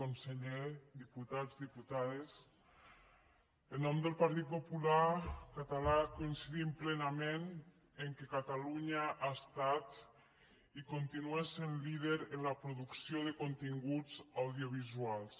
conseller diputats diputades en nom del partit popular català coincidim plenament que catalunya ha estat i continua sent líder en la producció de continguts audiovisuals